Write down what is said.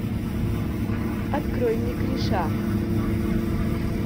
открой мне криша